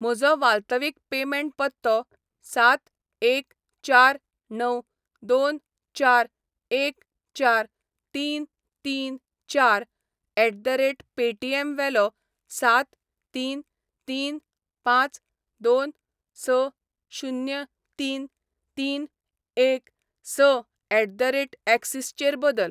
म्हजो वाल्तवीक पेमेंट पत्तो सात एक चार णव दोन चार एक चार तीन तीन चार एट द रेट पेटीएम वेलो सात तीन तीन पांच दोन स शुन्य तीन तीन एक स एट द रेट एक्सीस चेर बदल.